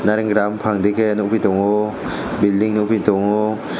trai gram phangdike nukgui tongo building nukgui tongo.